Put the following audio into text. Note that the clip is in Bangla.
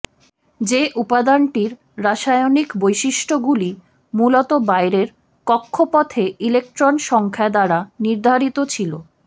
যে উপাদানটির রাসায়নিক বৈশিষ্ট্যগুলি মূলত বাইরের কক্ষপথে ইলেকট্রন সংখ্যা দ্বারা নির্ধারিত ছিল